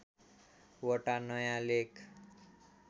वटा नयाँ लेख